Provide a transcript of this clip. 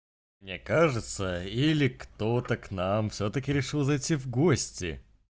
мне кажется или кто-то к нам всё-таки решил зайти в гости